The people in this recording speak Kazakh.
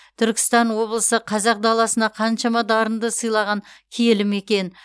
түркістан облысы қазақ даласына қаншама дарынды сыйлаған киелі мекен